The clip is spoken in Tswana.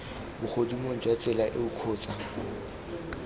bogodimong jwa tsela eo kgotsa